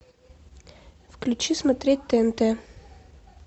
включи смотреть тнт